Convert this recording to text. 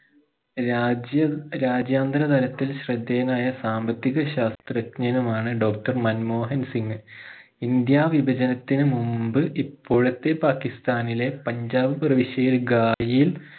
രാജ്യം രാജ്യാന്തരതലത്തിൽ ശ്രദ്ധേയനായ സാമ്പത്തിക ശാസ്ത്രജ്ഞനുമാണ് doctor മൻമോഹൻ സിംഗ് ഇന്ത്യ വിപചനത്തിനു മുമ്പ് ഇപ്പോഴത്തെ പാകിസ്താനിലെ പഞ്ചാബ് പ്രവിശ്യയിൽ ഗാഹിൽ